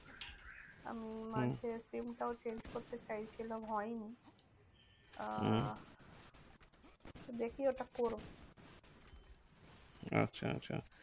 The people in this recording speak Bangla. আমি মাঝে হম SIM টাও change করতে চেয়েছিলাম হয়নি। আহ হম দেখি ওটা করবো। আচ্ছা আচ্ছা